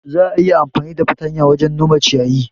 Za'a iya amfani da fartanya wajen nome ciyayi.